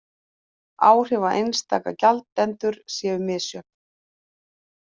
Áhrif á einstaka gjaldendur séu misjöfn